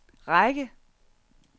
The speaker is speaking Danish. række